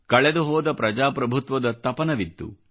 ಕಳೆದುಹೋದ ಪ್ರಜಾಪ್ರಭುತ್ವದ ತಪನವಿತ್ತು